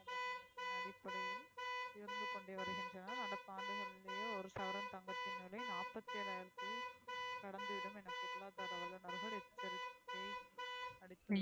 உயர்ந்து கொண்டே வருகின்றன நடப்பாண்டு ஒரு சவரன் தங்கத்தின் விலை நாபத்தி ஏலாயிரத்தை கடந்து விடும் என பொருளாதார வல்லுனர்கள் எச்சரிக்கை